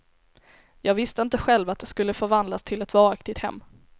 Jag visste inte själv att det skulle förvandlas till ett varaktigt hem.